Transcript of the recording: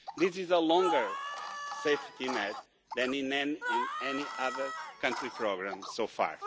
This is a longer safety net than in any other country's programme so far.